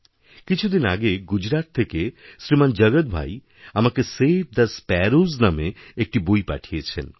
কিছুদিন আগে গুজরাট থেকে শ্রীমান জগৎভাই আমাকে সেভ থে স্প্যারোস নামে একটি বই পাঠিয়েছেন